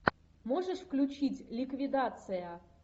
можешь включить ликвидация